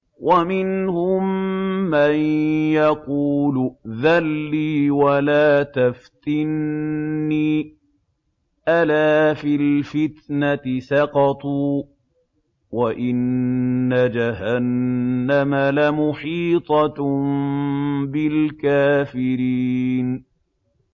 وَمِنْهُم مَّن يَقُولُ ائْذَن لِّي وَلَا تَفْتِنِّي ۚ أَلَا فِي الْفِتْنَةِ سَقَطُوا ۗ وَإِنَّ جَهَنَّمَ لَمُحِيطَةٌ بِالْكَافِرِينَ